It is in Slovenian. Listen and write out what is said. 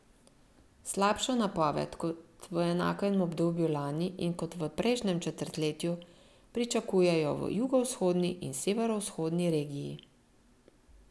Slabšo napoved kot v enakem obdobju lani in kot v prejšnjem četrtletju pričakujejo v jugovzhodni in severovzhodni regiji.